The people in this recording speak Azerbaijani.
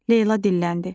Leyla dilləndi.